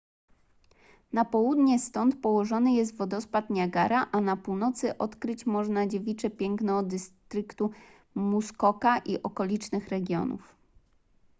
na południe stąd położony jest wodospad niagara a na północy odkryć można dziewicze piękno dystryktu muskoka i okolicznych regionów